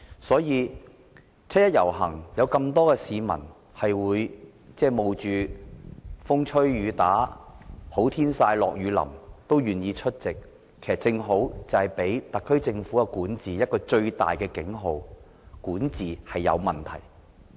所以，有那麼多市民冒着風吹雨打、"好天曬、下雨淋"也願意參與七一遊行，正是給予特區政府一個最大的警號，就是管治出現問題。